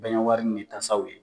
Bɛɛɲɛwari ni tasaw ye.